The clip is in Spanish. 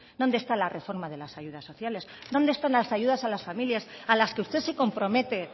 dónde está la reforma de las ayudas sociales dónde están las ayudas a las familias a las que usted se compromete